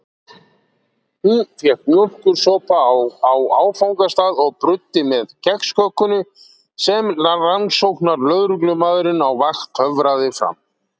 Hún fékk mjólkursopa á áfangastað og bruddi með kexköku sem rannsóknarlögreglumaðurinn á vakt töfraði fram.